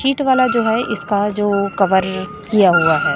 Seat वाला जो है इसका जो कवर किया हुआ है।